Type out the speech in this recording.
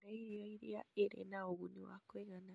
Kũrĩa irio iria irĩ na ũguni wa kũigana